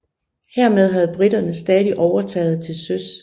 Hermed havde briterne stadig overtaget til søs